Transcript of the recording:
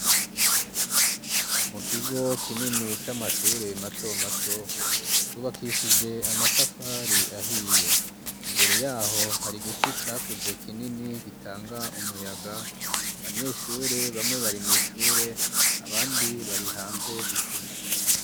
Mu kigo kinini c'amashure mato mato cubakishije amatafari ahiye imbere yaho hari giti cakuze kinini gitanga umuyaga abanyeshure bamwe bari mw'ishure abandi bari hanze gukina